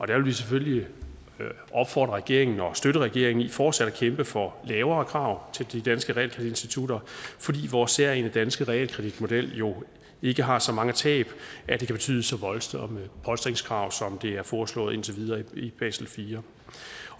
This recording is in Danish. der vil vi selvfølgelig opfordre regeringen til og støtte regeringen i fortsat at kæmpe for lavere krav til de danske realkreditinstitutter fordi vores særegne danske realkreditmodel jo ikke har så mange tab at det kan betyde så voldsomme polstringskrav som det er foreslået indtil videre i basel iv